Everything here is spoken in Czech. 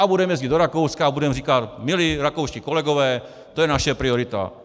A budeme jezdit do Rakouska a budeme říkat: Milí rakouští kolegové, to je naše priorita.